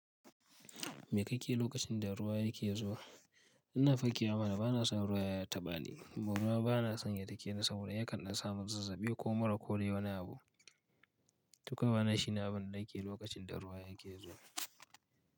Mai kake yi lokacin da ruwa yake zuwa? Ina fakewa mana bana son ruwa ya taɓa ni. Saboda ruwa bana son ya dake ni saboda yakan ɗan sa mun zazzaɓi ko mura ko dai wani abu. To kawai wanna shi ne abin danake lokacin da ruwa yake zuwa.